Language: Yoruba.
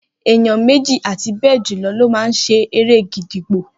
Eyan méjì àti bejulo lo ma ṣe eré gídígbò